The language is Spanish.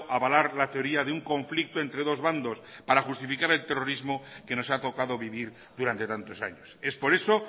a avalar la teoría de un conflicto entre dos bandos para justificar el terrorismo que nos ha tocado vivir durante tantos años es por eso